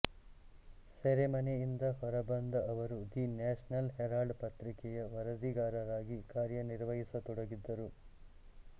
ಸೆರೆಮನೆಯಿಂದ ಹೊರ ಬಂದ ಅವರು ದಿ ನ್ಯಾಷನಲ್ ಹೆರಾಲ್ಡ್ ಪತ್ರಿಕೆಯ ವರದಿಗಾರರಾಗಿ ಕಾರ್ಯನಿರ್ವಹಿಸತೊಡಗಿದ್ದರು